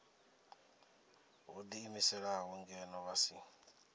vho ḓiimiselaho ngeno vha si